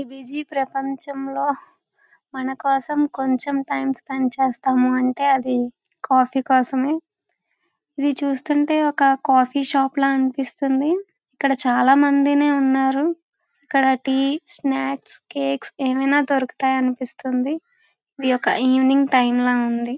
ఈ బిజీ ప్రపంచం లో మనకోసం కొంచం టైం స్పెండ్ చేస్తాము అంటే అది కాఫీ కోసమే ఇది చూస్తుంటే ఒక కాఫీ షాప్ ల అనిపిస్తుంది. ఇక్కడ చాలా మంది ఉన్నారు. ఇక్కడ టీస్నాక్స్కేక్ ఏం అయినా దొరుకుతాయి అనిపిస్తుంది.ఇది ఒక ఈవెనింగ్ టైం ల ఉంది.